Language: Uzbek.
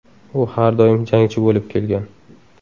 U har doim jangchi bo‘lib kelgan.